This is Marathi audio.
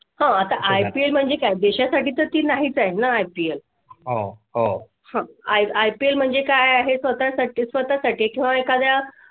. हां, आता IPL म्हणजे काय? देशा साठी ती नाही चालेल ना? IPL . हां, IPL म्हणजे काय आहे? स्वतः साठी स्वतः साठी किंवा एखाद्य्या